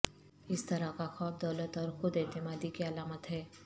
اس طرح کا خواب دولت اور خود اعتمادی کی علامت ہے